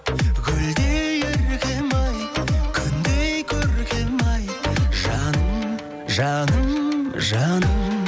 гүлдей еркем ай күндей көркем ай жаным жаным жаным